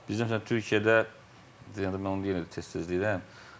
Bizdə məsələn Türkiyədə mən onu yenə də tez-tez deyirəm.